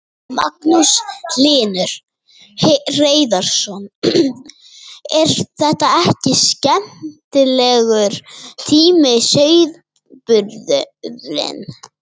Magnús Hlynur Hreiðarsson: er þetta ekki skemmtilegur tími sauðburðurinn?